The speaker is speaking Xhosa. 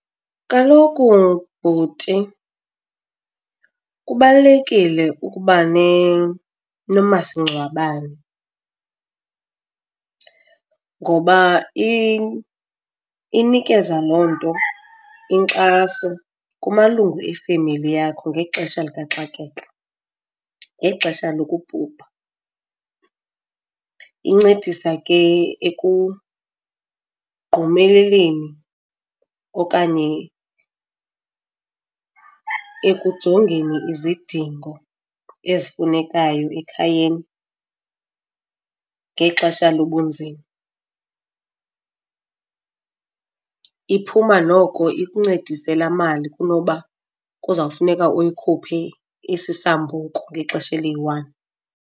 Kaloku, bhuti, kubalulekile ukuba nomasingcwabane ngoba inikeza loo nto inkxaso kumalungu efemeli yakho ngexesha likaxakeka, ngexesha lokubhubha. Incedisa ke ekugqumeleleni okanye ekujongeni izidingo ezifunekayo ekhayeni ngexesha lobunzima. Iphuma noko ikuncedise laa mali kunoba kuzawufuneka uyikhuphe isisambuku ngexesha eliyi-one.